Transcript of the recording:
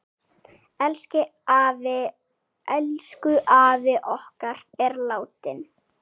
Elsku afi okkar er látinn.